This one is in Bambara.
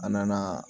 A nana